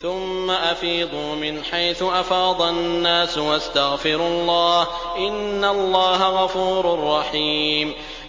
ثُمَّ أَفِيضُوا مِنْ حَيْثُ أَفَاضَ النَّاسُ وَاسْتَغْفِرُوا اللَّهَ ۚ إِنَّ اللَّهَ غَفُورٌ رَّحِيمٌ